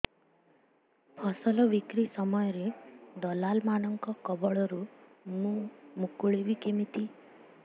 ଫସଲ ବିକ୍ରୀ ସମୟରେ ଦଲାଲ୍ ମାନଙ୍କ କବଳରୁ ମୁଁ ମୁକୁଳିଵି କେମିତି